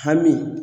Hami